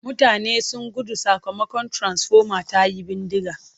Mutane sun gudu sakamakon tiransifoma ta yi bindiga.